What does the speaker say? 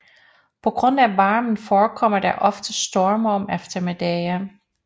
På grund af varmen forekommer der ofte storme om eftermiddagene